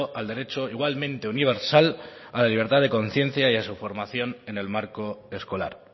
al derecho igualmente universal a la libertad de conciencia y a su formación en el marco escolar